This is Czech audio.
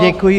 Děkuji.